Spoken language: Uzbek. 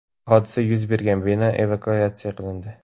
Hodisa yuz bergan bino evakuatsiya qilindi.